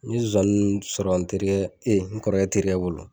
N ye zonzani nunnu sɔrɔ n terikɛ e n kɔrɔkɛ terikɛ bolo